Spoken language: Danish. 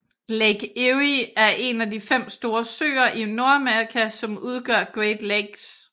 Lake Erie er en af de fem store søer i Nordamerika som udgør Great Lakes